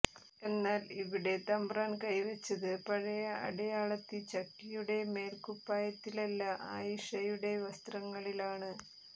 എന്നാൽ ഇവിടെ തമ്പ്രാൻ കൈ വെച്ചത് പഴയ അടിയാളത്തി ചക്കിയുടെ മേൽക്കുപ്പായത്തിലല്ല ആയിഷയുടെ വസ്ത്രങ്ങളിലാണ്